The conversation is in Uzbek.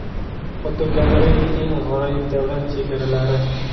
Fotogalereya: eng g‘aroyib davlat chegaralari.